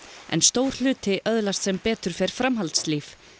en stór hluti öðlast sem betur fer framhaldslíf